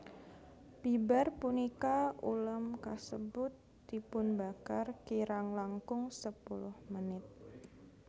Bibar punika ulam kasebut dipunbakar kirang langkung sepuluh menit